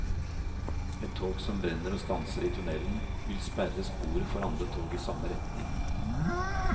Et tog som brenner og stanser i tunnelen, vil sperre sporet for andre tog i samme retning.